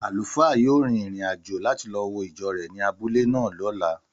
Àlùfáà yóò rin ìrìn-àjò láti wo ìjọ rẹ̀ ní abúlé náà lọ́la